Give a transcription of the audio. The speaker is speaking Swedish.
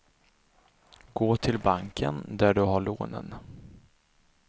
Gå till banken där du har lånen.